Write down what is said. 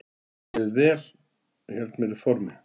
Mér líður vel og ég held mér í formi.